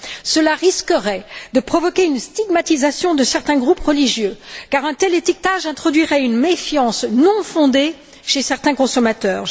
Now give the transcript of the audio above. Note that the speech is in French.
Cela risquerait de provoquer une stigmatisation de certains groupes religieux car un tel étiquetage introduirait une méfiance non fondée chez certains consommateurs.